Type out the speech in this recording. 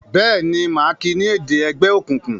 Béèni má kí ní èdè ègbé òkùnkùn?